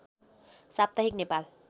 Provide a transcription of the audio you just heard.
साप्ताहिक नेपाल